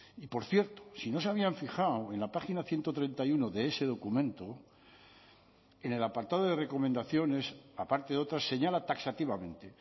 y por cierto si no se habían fijado en la página ciento treinta y uno de ese documento en el apartado de recomendaciones a parte de otras señala taxativamente